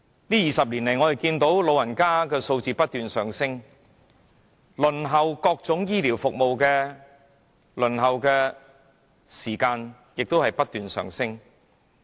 在過去20年，長者的數字不斷上升，而各種醫療服務的輪候時間亦同樣不斷上升。